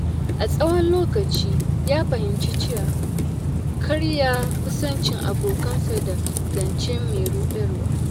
A tsawon lokaci, ya fahimci cewa kar ya kusanci abokansa da zance mai ruɗarwa.